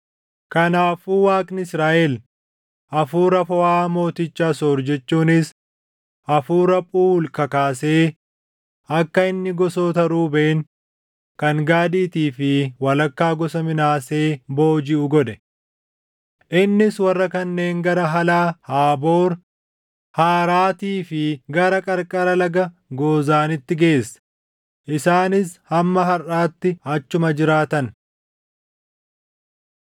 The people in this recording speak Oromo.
Kanaafuu Waaqni Israaʼel hafuura Fohaa mooticha Asoor jechuunis hafuura Phuuli kakaasee akka inni gosoota Ruubeen, kan Gaadiitii fi walakkaa gosa Minaasee boojiʼu godhe. Innis warra kanneen gara Halaa, Haaboor, Haaraatii fi gara qarqara laga Goozaaniitti geesse; isaanis hamma harʼaatti achuma jiraatan.